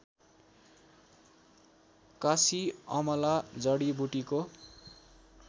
काँसी अमला जडीबुटीको